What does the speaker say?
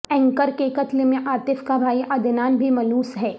anchor کے قتل میں عاطف کا بھائی عدنان بھی ملوث ہے